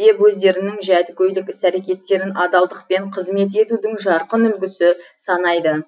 деп өздерінің жәдігөйлік іс әрекеттерін адалдықпен қызмет етудің жарқын үлгісі санайды